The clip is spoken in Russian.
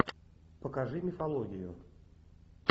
покажи мифологию